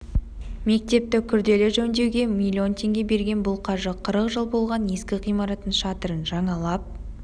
мектепті күрделі жөндеуге миллион теңге берген бұл қаржы қырық жыл болған ескі ғимараттың шатырын жаңалап